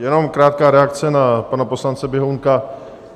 Jenom krátká reakce na pana poslance Běhounka.